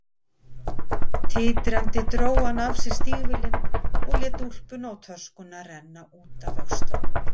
Titrandi dró hann af sér stígvélin og lét úlpuna og töskuna renna út af öxlunum.